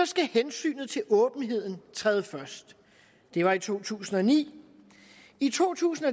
skal hensynet til åbenheden træde først det var i to tusind og ni i to tusind